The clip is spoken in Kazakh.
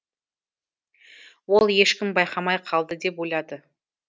ол ешкім байқамай қалды деп ойлады